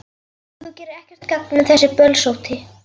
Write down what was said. Þú gerir ekkert gagn með þessu bölsóti,